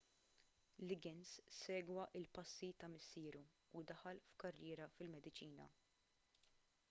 liggins segwa l-passi ta' missieru u daħal f'karriera fil-mediċina